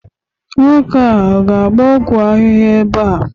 nwoke a ga-abia ọgwụ ahịhịa ebe a?